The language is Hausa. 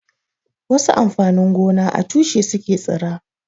Wasu amfanin gona a tushe su ke tsira.